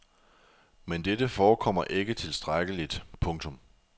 Men dette forekommer ikke tilstrækkeligt. punktum